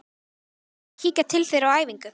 Eigum við ekki að kíkja til þeirra á æfingu?